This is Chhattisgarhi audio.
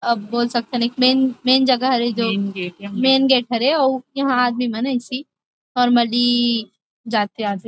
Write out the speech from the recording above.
अब बोल सकथन की मेन- मेन जगह हरे मेन गेट ह रे और यहाँ आदमी मन ह ऐसी नौर्मली जाथे -अाथे ।